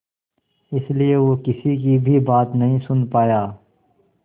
इसलिए वो किसी की भी बात नहीं सुन पाया